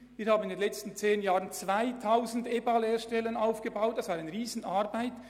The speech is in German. Wir haben in den letzten zehn Jahren 2000 EBA-Lehrstellen in ganz vielen Bereichen aufgebaut.